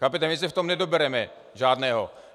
Chápete, my se v tom nedobereme žádného.